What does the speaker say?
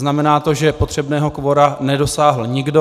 Znamená to, že potřebného kvora nedosáhl nikdo.